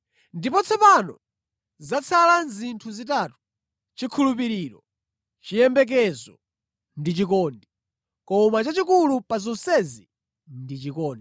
Ndipo tsopano zatsala zinthu zitatu: chikhulupiriro, chiyembekezo ndi chikondi. Koma chachikulu pa zonsezi ndi chikondi.